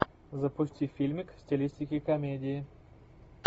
запусти фильмик в стилистике комедии